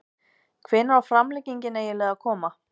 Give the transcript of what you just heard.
Hvenær á framlengingin eiginlega að koma??